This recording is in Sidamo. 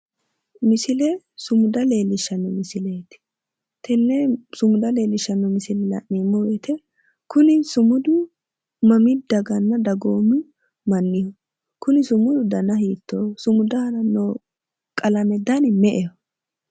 Misile sumuda leellishshanno misileeti tenne sumuda leellishshanno misile la'neemmo woyite Kuni sumudu mami dagana dagoomu manniho? Kuni sumudu dana hiittooho? Sumudu aana noo qalame dani me'eho?